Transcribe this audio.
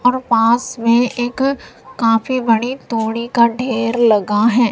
और पास में एक काफी बड़ी तोड़ी का ढेर लगा हैं।